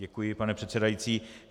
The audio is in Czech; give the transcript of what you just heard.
Děkuji, pane předsedající.